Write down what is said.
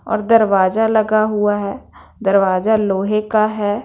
और दरवाजा लगा हुआ हैं दरवाजा लोहे का हैं।